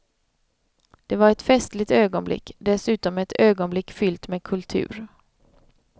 Det var ett festligt ögonblick, dessutom ett ögonblick fyllt med kultur.